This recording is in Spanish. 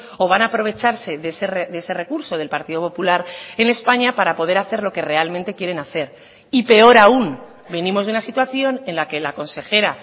o van a aprovecharse de ese recurso del partido popular en españa para poder hacer lo que realmente quieren hacer y peor aún venimos de una situación en la que la consejera